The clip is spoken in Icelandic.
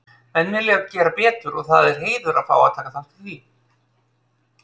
Menn vilja gera betur og það er heiður að fá að taka þátt í því,